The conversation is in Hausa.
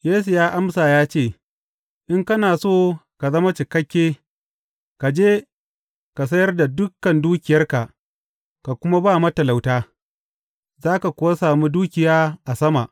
Yesu ya amsa ya ce, In kana so ka zama cikakke, ka je, ka sayar da dukan dukiyarka ka kuma ba matalauta, za ka kuwa sami dukiya a sama.